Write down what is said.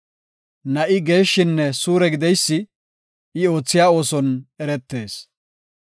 Na7i geeshshinne suure gideysi I oothiya ooson eretees.